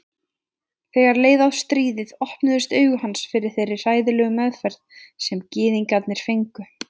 Þegar leið á stríðið opnuðust augu hans fyrir þeirri hræðilegu meðferð sem gyðingar fengu.